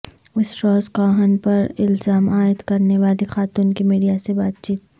اسٹراس Kahn پر الزام عائد کرنے والی خاتون کی میڈیا سے بات چیت